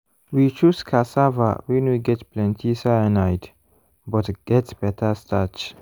we choose cassava wey no get plenty cyanide but get better starch.